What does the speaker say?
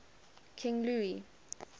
king louis